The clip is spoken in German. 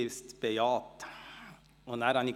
Sie bejahten es.